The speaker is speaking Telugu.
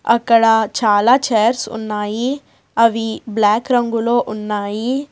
అక్కడ చాలా చైర్స్ ఉన్నాయి అవి బ్లాక్ రంగులో ఉన్నాయి.